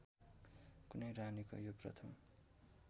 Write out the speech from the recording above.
कुनै रानीको यो प्रथम